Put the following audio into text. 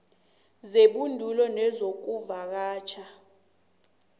zebhoduluko nezokuvakatjha namkha